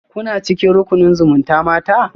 Kuna cikin rukunin zumutamata?